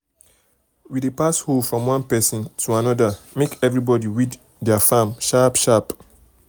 we dey dey pass hoe from one person to another make everybody weed their farm sharp sharp.